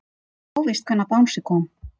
Óvíst hvenær bangsi kom